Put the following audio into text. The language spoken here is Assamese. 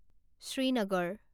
শ্ৰীনগৰ